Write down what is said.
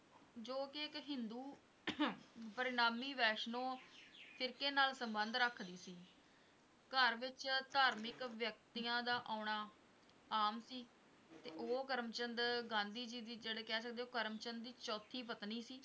ਬਰਨਾਮੀ ਵੈਸ਼ਨੋ ਸਿਰਕੇ ਨਾਲ ਸੰਬੰਧ ਰੱਖਦੀ ਸੀ ਘਰ ਵਿੱਚ ਧਾਰਮਿਕ ਵਿਅਕਤੀਆਂ ਦਾ ਆਉਣਾ ਆਮ ਸੀ, ਉਹ ਕਰਮ ਚੰਦ ਗਾਂਧੀ ਜੀ ਦੀ ਜਿਹੜੇ ਕਹਿ ਸਕਦੇ ਹੋਂ ਕਰਮ ਚੰਦ ਦੀ ਚੌਥੀ ਪਤਨੀ ਸੀ,